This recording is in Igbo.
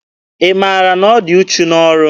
Ị maara na ọ dị uchu n'ọrụ?